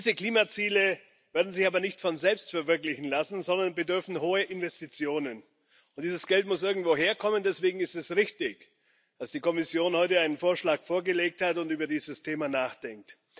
Diese Klimaziele werden sich aber nicht von selbst verwirklichen lassen, sondern bedürfen hoher Investitionen, und dieses Geld muss irgendwo herkommen. Deswegen ist es richtig, dass die Kommission heute einen Vorschlag vorgelegt hat und über dieses Thema nachdenkt.